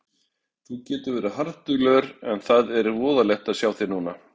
Þú getur verið harðduglegur en það er voðalegt að sjá þig núna.